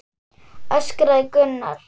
öskraði Gunnar.